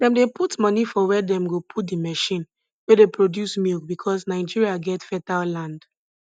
dem dey put money for where dem go put the machine wey dey produce milk because nigeria get fertile land